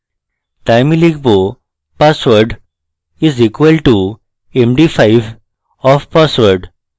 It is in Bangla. তাই আমি লিখব password is equal to md5 of password